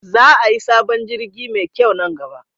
Za ayi sabon jirgi me kyau nan gaba